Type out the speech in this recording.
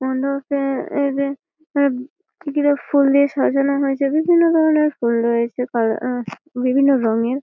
ফুল দিয়ে সাজানো হয়েছে বিভিন্ন ধরণের ফুল রয়েছে কালা আ বিভিন্ন রঙের।